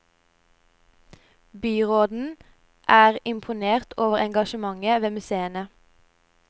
Byråden er imponert over engasjementet ved museene.